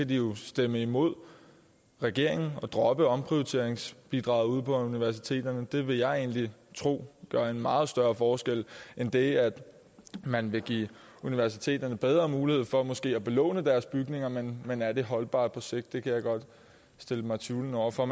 de jo stemme imod regeringen og droppe omprioriteringsbidraget ude på universiteterne for det vil jeg tro gør en meget større forskel end det at man vil give universiteterne bedre mulighed for måske at belåne deres bygninger men men er det holdbart på sigt det kan jeg godt stille mig tvivlende over for